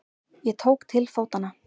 Ég tók til fótanna.